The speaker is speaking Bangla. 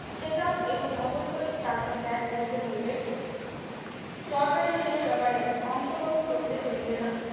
খেতাব এবং অবৈতনিক চাকরি ত্যাগ করিতে হইবে সরকারি ঋণের ব্যাপারে অংশগ্রহণ করিলে চলিবে না